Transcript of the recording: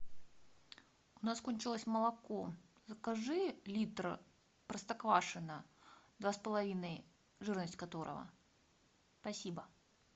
у нас кончилось молоко закажи литр простоквашино два с половиной жирность которого спасибо